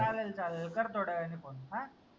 चाललं चाललं कर थोड्या वेळानी phone अं